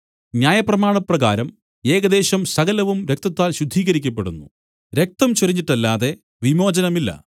ന്യായപ്രമാണപ്രകാരം ഏകദേശം സകലവും രക്തത്താൽ ശുദ്ധീകരിക്കപ്പെടുന്നു രക്തം ചൊരിഞ്ഞിട്ടല്ലാതെ വിമോചനമില്ല